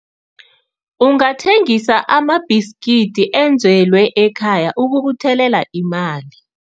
Ungathengisa amabhiskidi enzelwe ekhaya ukubuthelela imali.